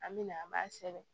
An bɛ na an b'a sɛbɛn